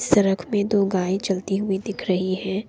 सरक पे दो गायें चलती हुई दिख रही है।